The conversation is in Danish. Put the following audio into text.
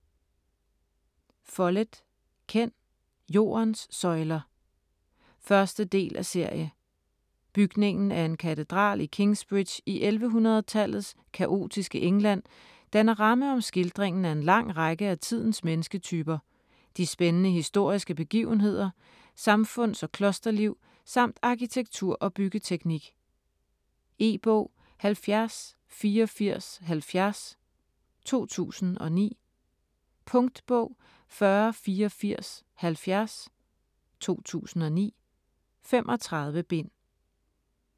Follett, Ken: Jordens søjler 1. del af serie. Bygningen af en katedral i Kingsbridge i 1100-tallets kaotiske England danner ramme om skildringen af en lang række af tidens mennesketyper, de spændende historiske begivenheder, samfunds- og klosterliv samt arkitektur og byggeteknik. E-bog 708470 2009. Punktbog 408470 2009. 35 bind.